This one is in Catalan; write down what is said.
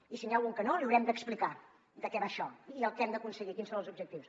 i si n’hi ha algun que no li haurem d’explicar de què va això i què hem d’aconseguir quins són els objectius